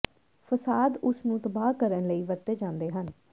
ਫਸਾਦ ਉਸ ਨੂੰ ਤਬਾਹ ਕਰਨ ਲਈ ਵਰਤੇ ਜਾਂਦੇ ਹਨ